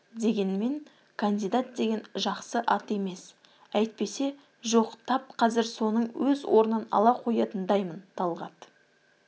дегенмен кандидат деген жақсы ат емес әйтпесе жоқ тап қазір соның өз орнын ала қоятындаймын талғат